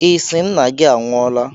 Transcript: Ị sị Nna gị anwụọla?